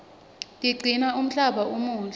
tiqcina umhlaba umuhle